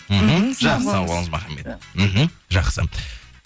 мхм жақсы сау болыңыз махамбет мхм жақсы